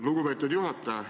Lugupeetud juhataja!